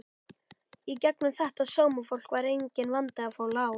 Í gegnum þetta sómafólk var enginn vandi að fá lán.